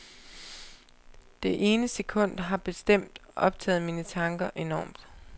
Det ene sekund har bestemt optaget mine tanker enormt.